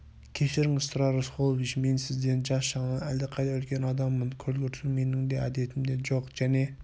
кешіріңіз тұрар рысқұлович мен сізден жас жағынан әлдеқайда үлкен адаммын көлгірсу менің де әдетімде жоқ және